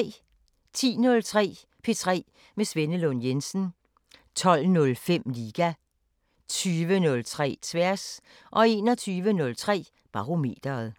10:03: P3 med Svenne Lund Jensen 12:05: Liga 20:03: Tværs 21:03: Barometeret